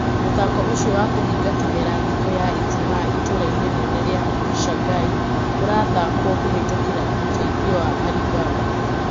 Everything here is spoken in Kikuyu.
Mũthako ũcio wa kũhinga kimera thikũ ya ijumaa itũra-ini rinene ria Shangahai ũrathkwo kũhitũkira ũteithio wa Alibaba.